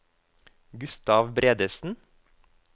Gustav Bredesen